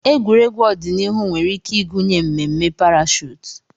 Egwuregwu ọdịnihu nwere ike ịgụnye mmemme parashuut.